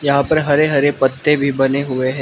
यहां पर हरे हरे पत्ते भी बने हुए है।